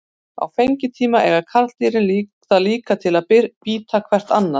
Á fengitíma eiga karldýrin það líka til að bíta hvert annað.